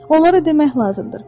Onlara demək lazımdır: